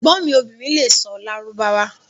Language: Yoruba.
Ẹgbon mi obìrín lè sọ̀ Lárúbáwá